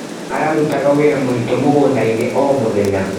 Ararutaga wĩra mũritũ mũgũndainĩ o mũthenya.